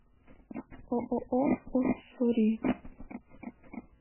ооо уссури